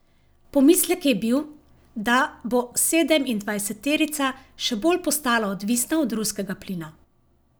Pomislek je bil, da bo sedemindvajseterica še bolj postala odvisna od ruskega plina.